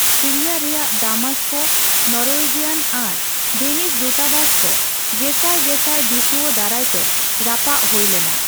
Syria ᱨᱮᱭᱟᱜ ᱫᱟᱢᱮᱥᱠᱮ Norwegian ᱟᱨ ᱰᱮᱱᱤᱥ ᱫᱩᱛᱟᱵᱟᱥ ᱠᱚ ᱜᱮᱥᱟᱭ ᱜᱮᱥᱟᱭ ᱫᱤᱥᱣᱟᱹ ᱫᱟᱨᱟᱭᱛᱮ ᱨᱟᱯᱟᱜ ᱦᱳᱭ ᱞᱮᱱᱟ ᱾